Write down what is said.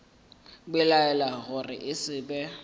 belaela gore e se be